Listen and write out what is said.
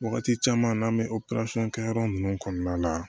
Wagati caman n'an bɛ kɛ yɔrɔ nunnu kɔnɔna la